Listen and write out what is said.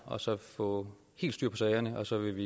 og så få helt styr på sagerne og så vil